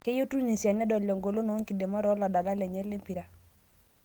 Keyieu Tunisia nedol engolon oe nkidimata ooladalak lnye lempira